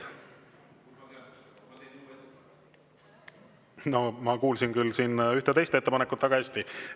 No ma kuulsin küll siin ühte teist ettepanekut väga hästi.